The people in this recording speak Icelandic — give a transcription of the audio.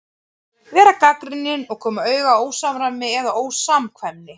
Vera gagnrýnin og koma auga á ósamræmi eða ósamkvæmni.